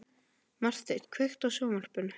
Marteinn, kveiktu á sjónvarpinu.